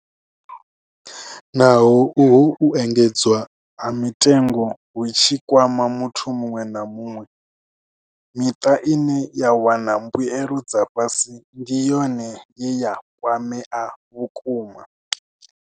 Naho uhu u engedzwa ha mitengo hu tshi kwama muthu muṅwe na muṅwe, miṱa ine ya wana mbuelo dza fhasi ndi yone ye ya kwamea vhukuma.